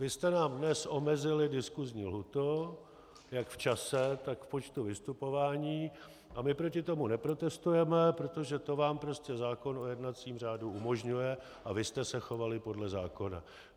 Vy jste nám dnes omezili diskusní lhůtu jak v čase, tak v počtu vystupování a my proti tomu neprotestujeme, protože to vám prostě zákon o jednacím řádu umožňuje a vy jste se chovali podle zákona.